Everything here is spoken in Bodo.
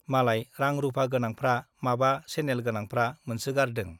मालाय रां- रुपा गोनांफ्रा , माबा सेनेल गोनांफ्रा मोनसोगारदों ।